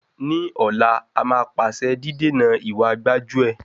Ní ọ̀la, a máa pàṣẹ dídènà ìwa gbájú-ẹ̀.